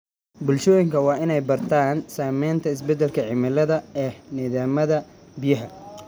Bulshooyinka waa inay bartaan saameynta isbeddelka cimilada ee nidaamyada biyaha.